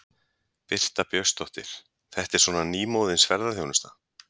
Birta Björnsdóttir: Þetta er svona nýmóðins ferðaþjónusta?